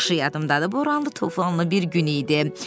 Yaxşı yadımdadır, boranlı, tufanlı bir gün idi.